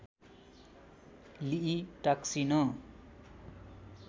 लिई टाक्सिन